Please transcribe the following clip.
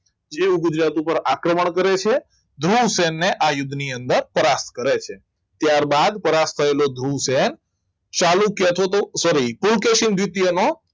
જેવું ગુજરાત ઉપર આક્રમણ કરે છે ધ્રુવસેનને આ યુદ્ધની અંદર સ્પષ્ટ કરે છે ત્યારબાદ સૌરાષ્ટ્ર થયેલો ધ્રુવસેન ચાલુ કેતો તો સોરી પુલકેશીયાનો દ્વિતીય નો